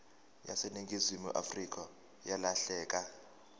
yaseningizimu afrika yalahleka